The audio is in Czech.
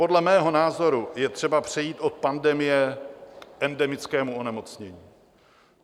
Podle mého názoru je třeba přejít od pandemie k endemickému onemocnění.